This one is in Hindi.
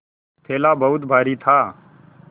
थैला बहुत भारी था